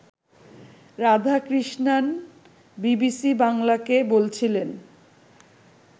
Radhakrishnan BBC বাংলাকে বলছিলেন